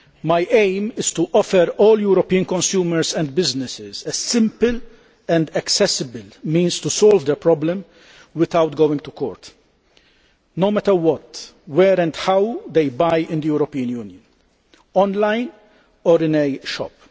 My aim is to offer all European consumers and businesses a simple and accessible way of solving their problems without going to court, no matter what, where and how they buy in the European Union, whether online or in a shop.